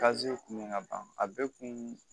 kun bɛ ka ban a bɛɛ kun